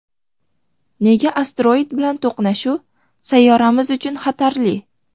Nega asteroid bilan to‘qnashuv sayyoramiz uchun xatarli?.